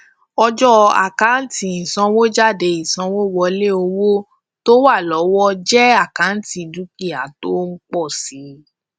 ọjọ àkántì ìsanwójáde ìsanwówọlé owó tó wà lọwọ jẹ àkántì dúkìá tó ń pọ si